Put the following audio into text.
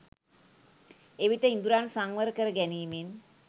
එවිට ඉඳුරන් සංවර කරගැනීමෙන්